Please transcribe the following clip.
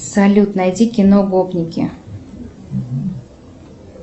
салют найди кино гопники